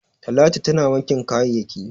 Talatu tana wankin kayayyaki.